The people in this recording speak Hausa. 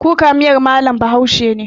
Kuka miyar mallam bahaushe ne